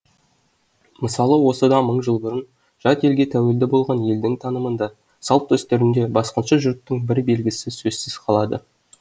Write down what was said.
мысалы осыдан мың жыл бұрын жат елге тәуелді болған елдің танымында салт дәстүрінде басқыншы жұрттың бір белгісі сөзсіз қалады